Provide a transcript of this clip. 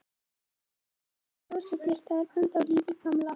Hann er að hrósa þér, það er ennþá líf í gamla.